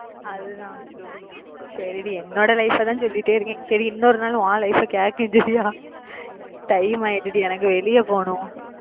அதுதான் சரிடி என்னோட life அ தான் சொல்லிட்டே இருக்கேன் சரி இன்னொரு நாளு உன் life அ கேட்கேன் சரியா time ஆயிடுச்சு டி எனக்கு வெளிய போணும்